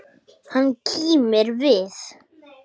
Hann kímir við.